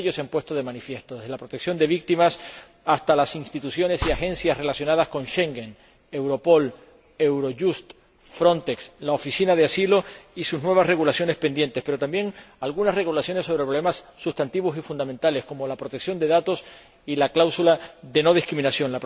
Muchos de ellos se han puesto de manifiesto, desde la protección de víctimas hasta las instituciones y agencias relacionadas con Schengen, Europol, Eurojust, Frontex y la Oficina Europea de Apoyo al Asilo y sus nuevas regulaciones pendientes, pero también algunas regulaciones sobre problemas sustantivos y fundamentales, como la protección de datos y la cláusula de no discriminación.